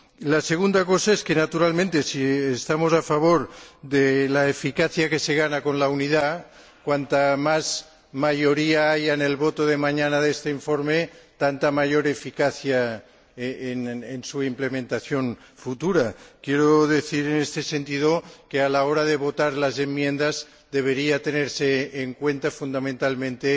La segunda cosa es que, naturalmente, si estamos a favor de la eficacia que se gana con la unidad, cuanto más amplia sea la mayoría en el voto de este informe, mañana, tanto más eficaz será su implementación futura. Quiero decir, en este sentido, que a la hora de votar las enmiendas debería tenerse en cuenta, fundamentalmente,